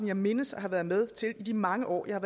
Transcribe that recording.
jeg mindes at have været med til i de mange år jeg har